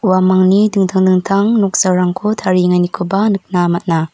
uamangni dingtang dingtang noksarangko tarienganikoba nikna man·a.